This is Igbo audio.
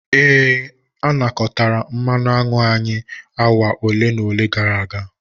Ee, a nakọtara mmanụ aṅụ anyị awa ole na ole gara aga.